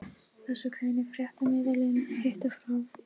Þessu greinir fréttamiðillinn Hina frá